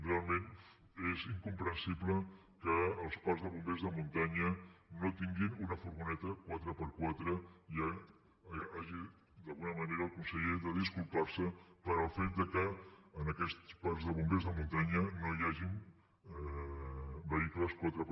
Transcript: realment és incomprensible que els parcs de bombers de muntanya no tinguin una furgoneta 4x4 i hagi d’alguna manera el conseller de disculpar se pel fet que en aquests parcs de bombers de muntanya no hi hagi vehicles 4x4